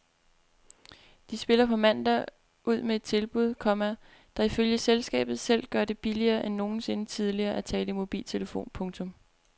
De spiller på mandag ud med et tilbud, komma der ifølge selskabet selv gør det billigere end nogensinde tidligere at tale i mobiltelefon. punktum